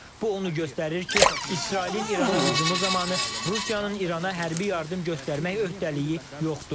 Bu onu göstərir ki, İsrailin İrana hücumu zamanı Rusiyanın İrana hərbi yardım göstərmək öhdəliyi yoxdur.